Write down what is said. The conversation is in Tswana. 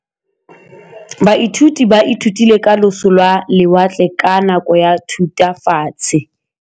Baithuti ba ithutile ka losi lwa lewatle ka nako ya Thutafatshe.